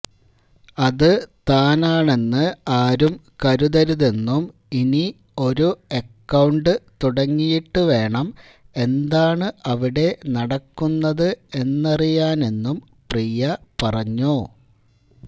അത് താനാണെന്ന് ആരും കരുതരുതെന്നും ഇനി ഒരു അക്കൌണ്ട് തുടങ്ങിയിട്ട് വേണം എന്താണ് അവിടെ നടക്കുന്നത് എന്നറിയാനെന്നും പ്രിയ പറഞ്ഞു